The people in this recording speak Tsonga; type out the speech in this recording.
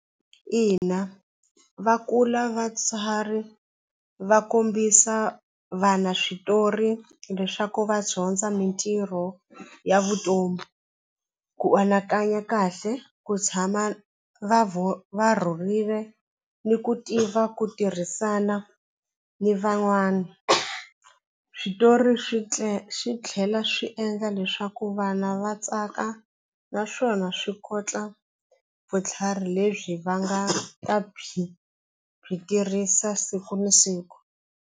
Ina va kula vatsari va kombisa vana switori leswaku va dyondza mitirho ya vutomi ku anakanya kahle ku tshama va va rhurile ni ku tiva ku tirhisana ni van'wana switori swi swi tlhela swi endla leswaku vana va tsaka naswona swi kotla vutlhari lebyi va nga ta byi byi tirhisa siku na siku.